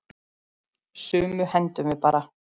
Sumu hendum við bara.